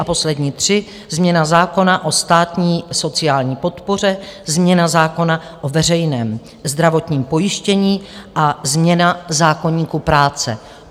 A poslední tři - změna zákona o státní sociální podpoře, změna zákona o veřejném zdravotním pojištění a změna zákoníku práce.